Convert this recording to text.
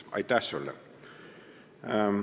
Aitäh sulle!